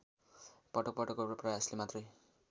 पटकपटकको प्रयासले मात्रै